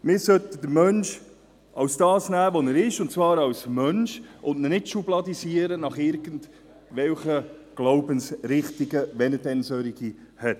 Man sollte den Menschen als das nehmen, was er ist, und zwar als Menschen, und ihn nicht schubladisieren nach irgendwelchen Glaubensrichtigen, wenn er denn solche hat.